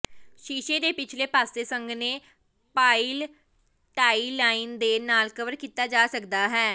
ਸ਼ੀਸ਼ੇ ਦੇ ਪਿਛਲੇ ਪਾਸੇ ਸੰਘਣੇ ਪਾਇਲਟਾਈਲੀਨ ਦੇ ਨਾਲ ਕਵਰ ਕੀਤਾ ਜਾ ਸਕਦਾ ਹੈ